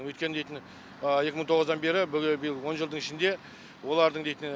өйткені дейтін екі мың тоғыздан бері бүгін биыл он жылдың ішінде олардың дейтін